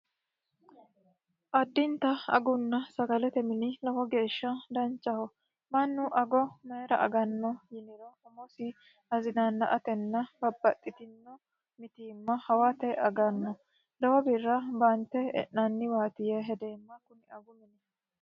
Addinta aguna sagalete mine lowo geeshsha danchaho. Mannu ago mayiira aganno yiniro umosi tazinaana"antenna babbaxitino mitiimma hawate aganno. lowo birra baante e'naniwasti yee hedeemma.